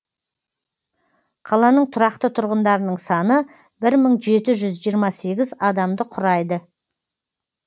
қаланың тұрақты тұрғындарының саны бір мың жеті жүз жиырма сегіз адамды құрайды